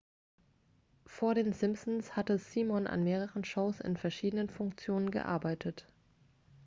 vor den simpsons hatte simon an mehreren shows in verschiedenen funktionen gearbeitet